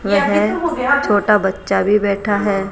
वेह छोटा बच्चा भी बैठा हैं।